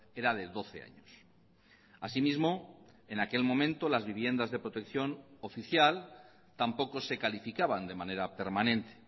era de doce años asimismo en aquel momento las viviendas de protección oficial tampoco se calificaban de manera permanente